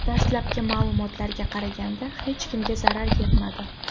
Dastlabki ma’lumotlarga qaraganda hech kimga zarar yetmadi.